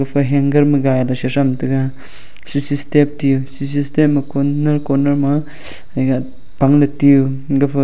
pa hanger ma gailey sitham taiga sisi step tiyu sisi step ma coner corner ma egah pangley tiyu gafa--